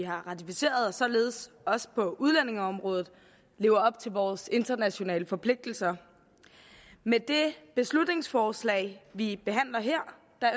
vi har ratificeret og således også på udlændingeområdet lever op til vores internationale forpligtelser med det beslutningsforslag vi behandler her